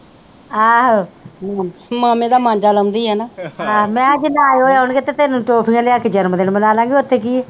ਆਹੋ ਮਾਮੇ ਦਾ ਮਾਂਜਾ ਲਾਉਂਦੀ ਆ ਨਾ ਆਹੋ ਮੈ ਕਿਹਾ ਜੇ ਨਾ ਆਉਣਗੇ ਤੇ ਫਿਰ ਟੌਫੀਆਂ ਲਿਆ ਕੇ ਜਨਮ ਦਿਨ ਮਨਾਲਾਗੇ ਉੱਥੇ ਕੀਆ